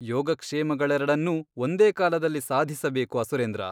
ಯೋಗಕ್ಷೇಮಗಳೆರಡನ್ನೂ ಒಂದೇ ಕಾಲದಲ್ಲಿ ಸಾಧಿಸಬೇಕು ಅಸುರೇಂದ್ರ.